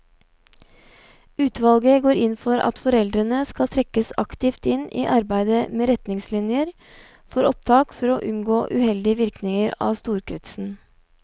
Utvalget går inn for at foreldrene skal trekkes aktivt inn i arbeidet med retningslinjer for opptak for å unngå uheldige virkninger av storkretsen.